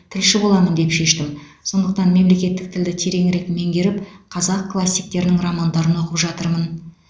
тілші боламын деп шештім сондықтан мемлекеттік тілді тереңірек меңгеріп қазақ классиктерінің романдарын оқып жатырмын